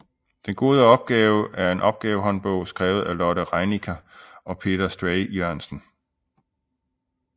Den gode opgave er en opgavehåndbog skrevet af Lotte Rienecker og Peter Stray Jørgensen